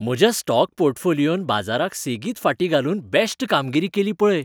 म्हज्या स्टॉक पोर्टफोलियोन बाजाराक सेगीत फाटीं घालून बॅश्ट कामगिरी केली पळय.